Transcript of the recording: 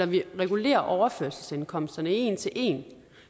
vi regulerer overførselsindkomsterne en til en